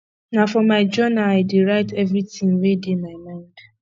na for my jounal i dey write everytin wey dey my mind